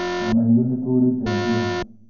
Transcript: Ona ithuĩ nĩtũũrĩte njĩra